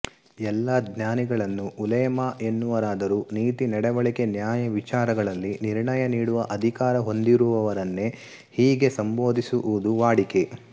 ಎಲ್ಲ ಜ್ಞಾನಿಗಳನ್ನೂ ಉಲೇಮಾ ಎನ್ನುವರಾದರೂ ನೀತಿ ನಡೆವಳಿಕೆ ನ್ಯಾಯವಿಚಾರಗಳಲ್ಲಿ ನಿರ್ಣಯ ನೀಡುವ ಅಧಿಕಾರ ಹೊಂದಿರುವವರನ್ನೇ ಹೀಗೆ ಸಂಬೋಧಿಸುವುದು ವಾಡಿಕೆ